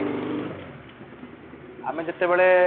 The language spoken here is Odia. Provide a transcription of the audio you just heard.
ଆମେ ଯେତେବେଳେ